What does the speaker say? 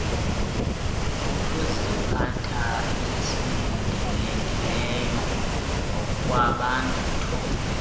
sokuziphatha esilindelekileyo ngokwebatho